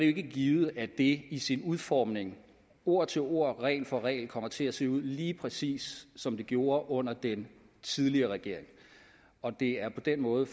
ikke givet at det i sin udformning ord til ord regel for regel kommer til at se ud lige præcis som det gjorde under den tidligere regering det er på den måde